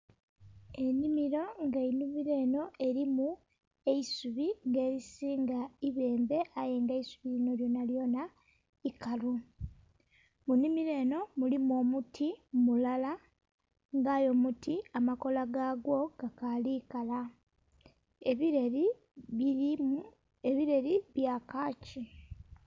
Enhimiro nha enhimiro enho erimu eisubi nga erilinga ibembbe aye nga eisubi linho lyona lyona ikalu. Enhimiro enho erimu omuti mulala nga aye omuti amakoola ga gwo ga kali kala. Ebileeli birimu, ebileeli bya kakii.